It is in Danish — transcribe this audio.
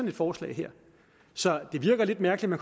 et forslag så det virker lidt mærkeligt at